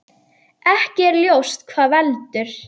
Ekki er ljóst hvað veldur.